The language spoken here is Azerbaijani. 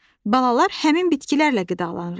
Balalar həmin bitkilərlə qidalanırlar.